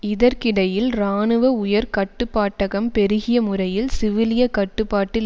இதற்கிடையில் இராணுவ உயர் கட்டுப்பாட்டகம் பெருகியமுறையில் சிவிலிய கட்டுப்பாட்டில்